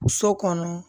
So kɔnɔ